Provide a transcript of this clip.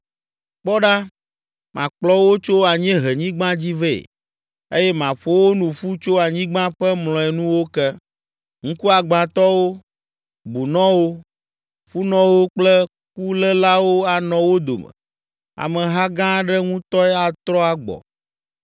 Kpɔ ɖa, makplɔ wo tso anyiehenyigba dzi vɛ eye maƒo wo nu ƒu tso anyigba ƒe mlɔenuwo ke, ŋkuagbãtɔwo, bunɔwo, funɔwo kple kulélawo anɔ wo dome; ameha gã aɖe ŋutɔe atrɔ agbɔ.